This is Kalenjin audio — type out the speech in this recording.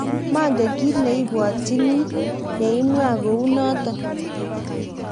manget kiit ne ibwotyini ye imwa kou noto